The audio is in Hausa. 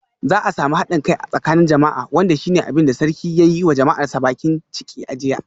Za a samu hadin kai a tsakanin jama'a wanda shi ne abin da sarki ya yi wa jama'arsa bakin ciki a jiya.